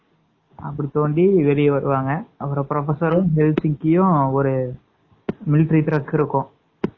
அப்பறம் தோண்டி வெளிய வருவாங்க.அப்பறம் professor ரும், ஒரு மிலிட்டரி ட்ரக் இருக்கும்.